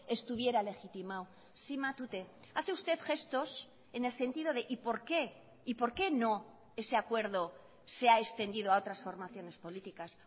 estuviera legitimado sí matute hace usted gestos en el sentido de y por qué y por qué no ese acuerdo se ha extendido a otras formaciones políticas